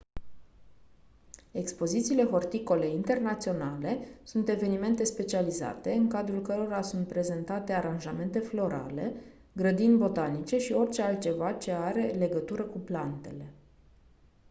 expozițiile horticole internaționale sunt evenimente specializate în cadrul cărora sunt prezentate aranjamente florale grădini botanice și orice altceva ce are legătură cu plantele